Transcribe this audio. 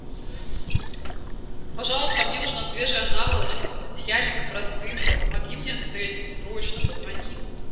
пожалуйста мне нужна свежая наволочка пододеяльник и простынка помоги мне с этим срочно позвони